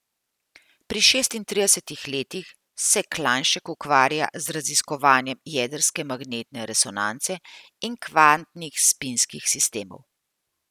Pri šestintridesetih letih se Klajnšek ukvarja z raziskovanjem jedrske magnetne resonance in kvantnih spinskih sistemov.